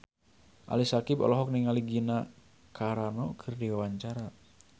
Ali Syakieb olohok ningali Gina Carano keur diwawancara